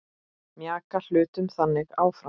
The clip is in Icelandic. Mjaka hlutum þannig áfram.